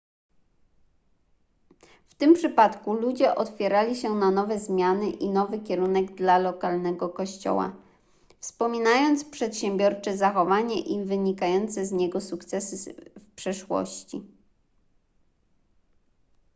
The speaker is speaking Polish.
w tym przypadku ludzie otwierali się na nowe zmiany i nowy kierunek dla lokalnego kościoła wspominając przedsiębiorcze zachowanie i wynikające z niego sukcesy w przeszłości